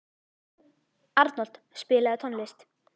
Arnold, spilaðu tónlist.